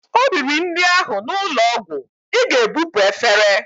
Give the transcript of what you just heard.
O riri nri ahụ n'ụlọ ọgwụ, Ị ga-ebupu efere!